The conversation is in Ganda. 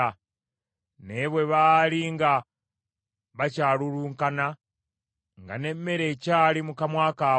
Naye bwe baali nga bakyalulunkana, nga n’emmere ekyali mu kamwa kaabwe,